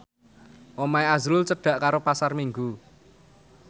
omahe azrul cedhak karo Pasar Minggu